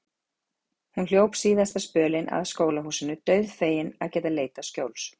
Hún hljóp síðasta spölinn að skólahúsinu, dauðfegin að geta leitað skjóls.